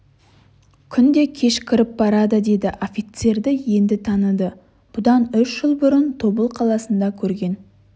күн де кешкіріп барады деді офицерді енді таныды бұдан үш жыл бұрын тобыл қаласында көрген